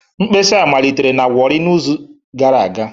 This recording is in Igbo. Mkpesa malitere na Warri n'izu gara aga